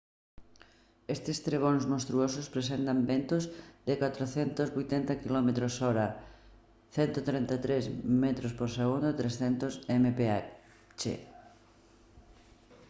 estes trebóns monstruosos presentan ventos de ata 480 km/h 133 m/s; 300 mph